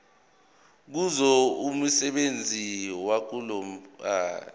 kuzo umsebenzi wokubulala